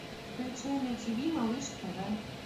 включай на тв малыш тв